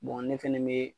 ne fɛnɛ be